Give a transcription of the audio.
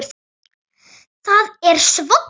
Það er svoddan rok.